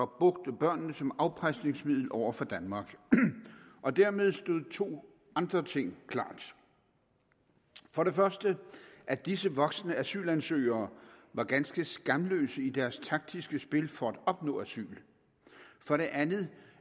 brugte børnene som afpresningsmiddel over for danmark og dermed stod to andre ting klart for det første at disse voksne asylansøgere var ganske skamløse i deres taktiske spil for at opnå asyl for det andet